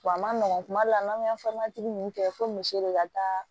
Wa a ma nɔgɔ kuma dɔ la n'an bɛ ninnu kɛ fo misi de ka taa